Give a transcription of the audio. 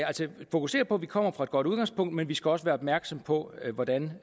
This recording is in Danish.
fokusere på at vi kommer fra et godt udgangspunkt men vi skal også være opmærksomme på hvordan